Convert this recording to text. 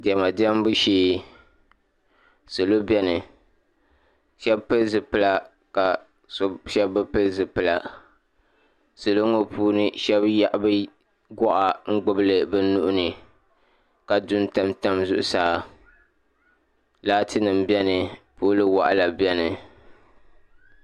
Diɛma diɛmbu shee salo beni shɛba pili zipila ka shɛba bi pili zipila ka salo puuni shɛba yehi bɛ gɔɣa n-gbubi li bɛ nuhi ni ka du n-tam tam zuɣusaa laatinima beni pooli waɣila bani.